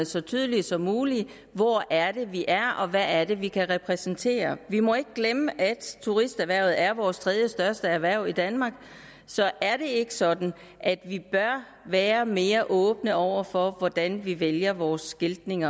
så tydelige som muligt hvor er det vi er og hvad er det vi kan repræsentere vi må ikke glemme at turisterhvervet er vores tredjestørste erhverv i danmark så er det ikke sådan at vi bør være mere åbne over for hvordan vi vælger vores skiltning